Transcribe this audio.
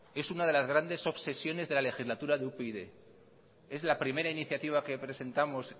es una de las grandes obsesiones de la legislatura de upyd es la primera iniciativa que presentamos